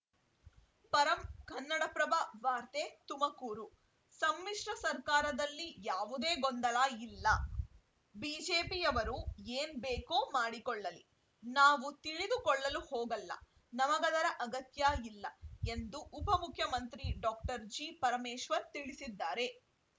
ಪರಂ ಕನ್ನಡಪ್ರಭ ವಾರ್ತೆ ತುಮಕೂರು ಸಮ್ಮಿಶ್ರ ಸರ್ಕಾರದಲ್ಲಿ ಯಾವುದೇ ಗೊಂದಲ ಇಲ್ಲ ಬಿಜೆಪಿಯವರು ಏನ್‌ ಬೇಕೋ ಮಾಡಿಕೊಳ್ಳಲಿ ನಾವು ತಿಳಿದುಕೊಳ್ಳಲು ಹೋಗಲ್ಲ ನಮಗದರ ಅಗತ್ಯ ಇಲ್ಲ ಎಂದು ಉಪಮುಖ್ಯಮಂತ್ರಿ ಡಾಕ್ಟರ್ ಜಿಪರಮೇಶ್ವರ್‌ ತಿಳಿಸಿದ್ದಾರೆ